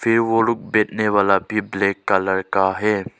बैठने वाला भी ब्लैक कलर का है।